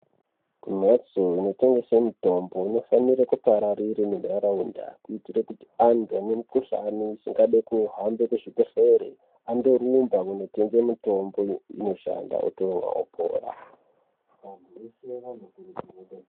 Kumhatso inotengese mitombo inofanira kupararira ngentharaunda. Kuitire kuti antu anemukuhlani isingadi kuhamba kuzvibhedhlere, andorumba kunotenge mitombo inoshanda wotomwa wopora.